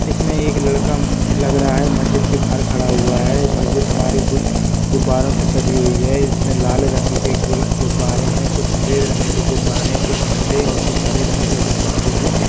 इसमें एक लड़का लग रहा है मस्जिद के बाहर खड़ा हुआ है मस्जिद हमारी गु गुबारों से सजी हुई है इसमें लाल रंग के गुब्बारे है कुछ सफेद रंगके गुब्बारे और कुछ नीले और कुछ हरे रंग के गुब्बारे है ।